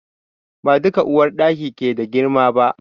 Ba duka uwarɗaki ke da girma ba.